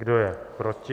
Kdo je proti?